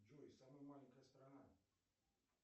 джой самая маленькая страна